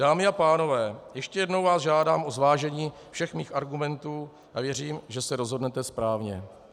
Dámy a pánové, ještě jednou vás žádám o zvážení všech mých argumentů a věřím, že se rozhodnete správně.